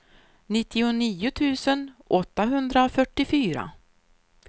nittionio tusen åttahundrafyrtiofyra